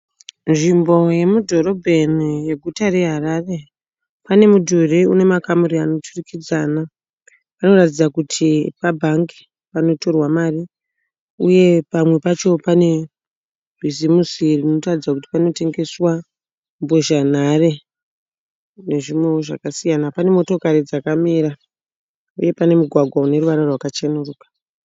Nzvimbo yemudhorobheni yeguta reHarare. Pane mudhuri une makamuri anoturikidzana. Panoratidza kuti pabhangi panotorwa mari uye pamwe pacho pane bhizimusi rinotaridza kuti panotengeswa mbozhanhare nezvimwewo zvakasiyana. Pane motokari dzakamira uye pane mugwagwa une ruvara rwakachenuruka.